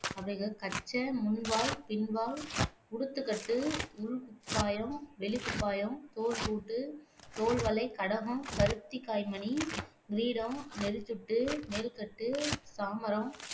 அவைகள் கச்சை, முன்வால், பின்வால், உடுத்துக்கட்டு, உள் குப்பாயம், வெளிக்குப்பாயம், தோள்பூட்டு, தோள்வளை, கடகம், பருத்திக்காய்மணி, கிரீடம், நெறிச்சுட்டு, மேல்கட்டு, சாமரம்